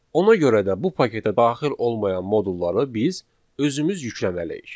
Ona görə də bu paketə daxil olmayan modulları biz özümüz yükləməliyik.